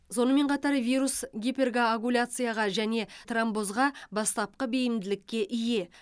сонымен қатар вирус гиперкоагуляцияға және тромбозға бастапқы бейімділікке ие